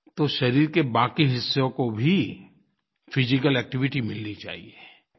तो शरीर के बाकी हिस्सों को भी फिजिकल एक्टिविटी मिलनी चाहिए